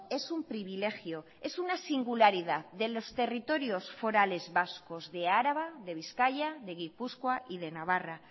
es un privilegio es una singularidad de los territorios forales vascos de araba de bizkaia de gipuzkoa y de navarra